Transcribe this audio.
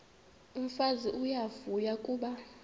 umfazi uyavuya kuba